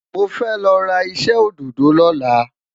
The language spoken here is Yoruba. mọ fẹ lọra iṣẹ ododo loola